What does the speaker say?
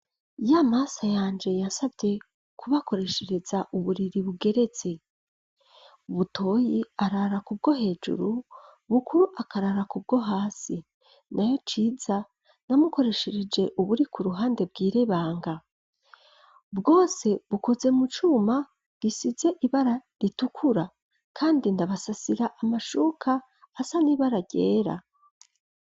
Iyoa maso yanje yasavye kubakoreshereza uburiri bugeretse ubutoyi arara ku bwo hejuru bukuru akarara kubwo hasi na yo ciza namukoreshereje uburi ku ruhande bwirebanga bwose bukoze mu cuma gisize ibara ritukura, kandi ndabasasira amashuka asa nibaragera.